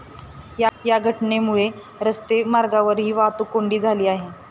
या घटनेमुळे रस्ते मार्गावरही वाहतूक कोंडी झाली आहे.